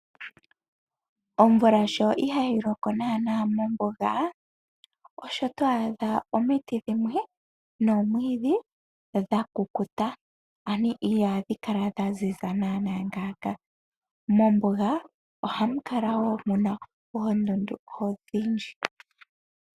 Omvula sho ihaayi loko naanaa mombuga, osho to a dha omiti dhimwe nomwiidhi dhakukuta ano iyaadhi kala dha zi za naanaa ngaaka. Mombuga ohamu kala woo muna oondundu oonene odhindji.